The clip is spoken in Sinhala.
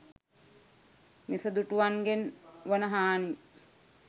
මිසදිටුවන්ගෙන් වන හානි